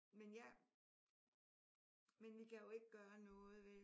Men jeg men vi kan jo ikke gøre noget vel?